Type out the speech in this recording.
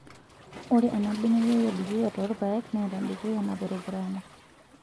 Ore enabeneyio edukuya toorpaek neeta dukuya napurupurana .